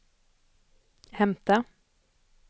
hämta